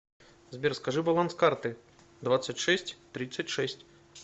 сбер скажи баланс карты двадцать шесть тридцать шесть